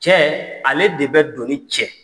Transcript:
Cɛ, ale de bɛ doni cɛ.